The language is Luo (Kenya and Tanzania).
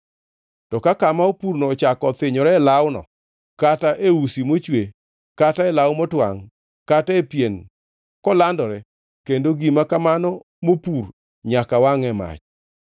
To ka kama opurno ochako othinyore e lawno, kata e usino mochwe kata e lawno motwangʼ, kata e pien, kolandore, kendo gima kamano mopur nyaka wangʼ e mach.